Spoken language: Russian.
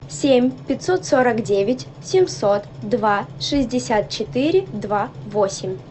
семь пятьсот сорок девять семьсот два шестьдесят четыре два восемь